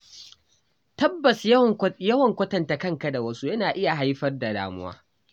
Tabbas Yawan kwatanta kanka da wasu yana iya haifar da damuwa.